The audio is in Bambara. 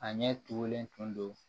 A ɲɛ tugulen tun don